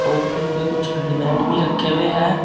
और उनपे कुछ भी रखे हुए हैं।